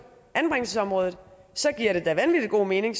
anbringelsesområdet så giver det da vanvittig god mening